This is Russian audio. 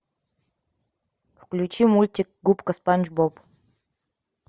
включи мультик губка спанч боб